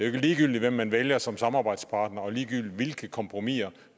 ikke ligegyldigt hvem man vælger som samarbejdspartner og ligegyldigt hvilke kompromiser